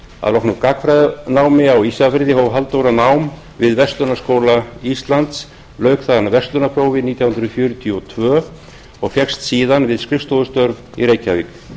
að loknu gagnfræðanámi á ísafirði hóf halldóra nám við verslunarskóla íslands lauk þaðan verslunarprófi nítján hundruð fjörutíu og tvö og fékkst síðan við skrifstofustörf í reykjavík